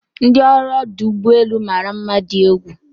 ndi ọrụ ọdụ ụgbọ elu mara mma di egwu